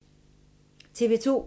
TV 2